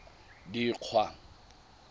dikgwa